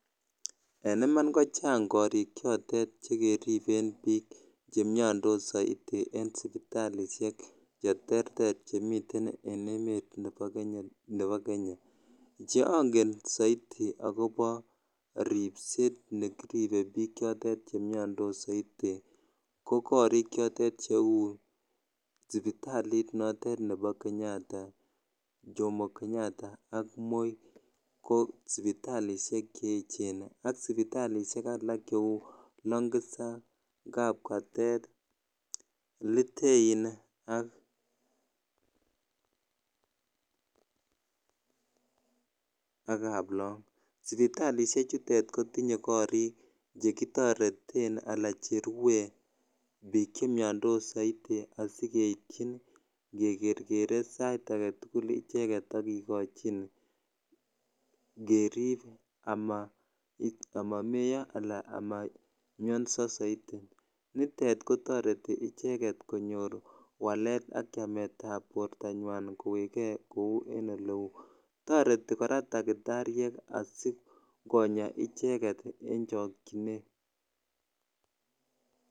En iman kochang korik chotet chekeriben biik chemiondos soiti en sipitalishek cheterter chemiten en emet nebo Kenya, che ong'en soiti ak kobo ribset nekiribe biik chotet chemiondos soiti ko korik chotet cheu sipitalit notet nebo chomo Kenyata ak moi ko sipitalishek che echen ak sipitalishek alak cheu Longisa, Kapkatet, Litein ak Kaplong, sipitalishe chutet kotinye korik chekitoreten alaan cherwe biik chemiondos soiti asikeityin kekerkere sait aketukul icheket ak kikochin kerib amamoyo alaa amamionso soiti, nitet kotoreti icheket konyor walet ak chametab bortanywan kowekee kouu en eleuu, toreti kora takitariek asikonya icheket en chokyinet.